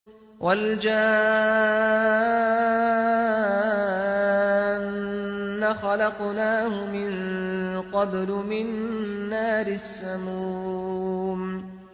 وَالْجَانَّ خَلَقْنَاهُ مِن قَبْلُ مِن نَّارِ السَّمُومِ